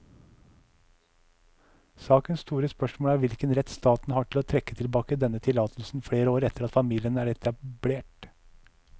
Sakens store spørsmål er hvilken rett staten har til å trekke tilbake denne tillatelsen flere år etter at familien er etablert.